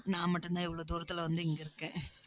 நான் மட்டும்தான், இவ்வளவு தூரத்துல வந்து, இங்க இருக்கேன்